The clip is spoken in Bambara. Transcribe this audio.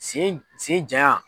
Sen sen janyan.